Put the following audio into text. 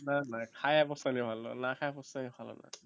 না না খায়ে পস্তা্লে ভালো না খেয়ে পস্তালে ভালো না